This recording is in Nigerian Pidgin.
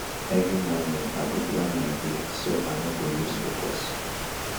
every morning i go plan my day so i no go lose focus.